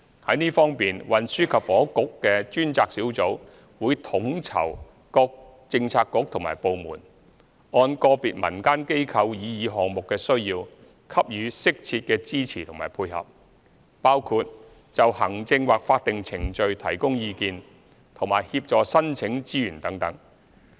在這方面，運輸及房屋局的專責小組會統籌各政策局和部門，按個別民間機構擬議項目的需要，給予適切的支持和配合，包括就行政或法定程序提供意見和協助申請資源等。